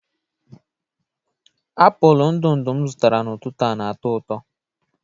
apụl ndụ ndụ m zụtara n'ụtụtụ a na-atọ ụtọ